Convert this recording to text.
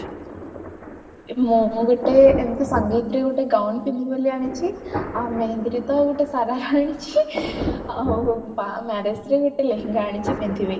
ମୁଁ ଗୋଟେ ଏମିତି ସଙ୍ଗୀତ ରେ ଏମିତି gown ପିନ୍ଧିବି ବୋଲି ଆନିଛି ଆଉ ମେହେନ୍ଦିରେ ତ ଗୋଟେ ଶରାରା ଆନିଛି ଆଉ marriageରେ ଗୋଟେ ଲେହେଙ୍ଗା ଆନିଛି ପିନ୍ଧିବି